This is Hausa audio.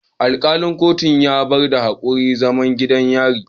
Alkalin kotun ya bayar da hukuncin zaman gidan yari